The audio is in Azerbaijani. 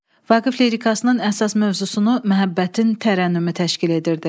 Vaqif lirikısının əsas mövzusunu məhəbbətin tərənnümü təşkil edirdi.